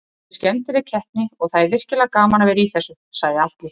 Þetta er skemmtileg keppni og það er virkilega gaman að vera í þessu, sagði Atli.